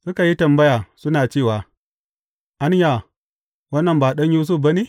Suka yi tambaya, suna cewa, Anya, wannan ba ɗan Yusuf ba ne?